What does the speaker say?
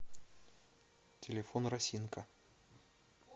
телефон росинка